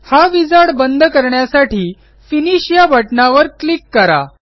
हा विझार्ड बंद करण्यासाठी फिनिश या बटणावर क्लिक करा